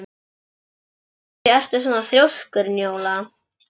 Af hverju ertu svona þrjóskur, Njóla?